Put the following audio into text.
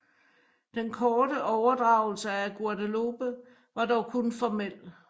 Den korte overdragelse af Guadeloupe var dog kun formel